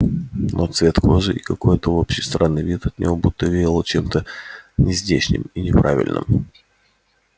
но цвет кожи и какой-то общий странный вид от него будто веяло чем-то нездешним и неправильным